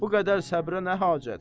Bu qədər səbrə nə hacət?